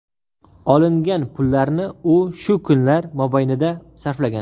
Olingan pullarni u shu kunlar mobaynida sarflagan.